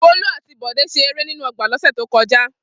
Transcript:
Folú àti Bọ̀dé ṣe eré nínú ọgbà lọ́sẹ̀ tó kọjá.